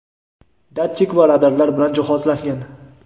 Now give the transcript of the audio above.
datchik va radarlar bilan jihozlangan.